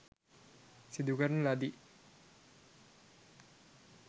සිදුකරන ලදී.